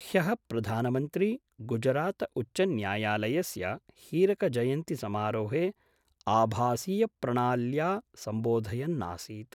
ह्य: प्रधानमन्त्री गुजरातउच्चन्यायालयस्य हीरकजयन्तिसमारोहे आभासीयप्रणाल्या संबोधयन्नासीत्।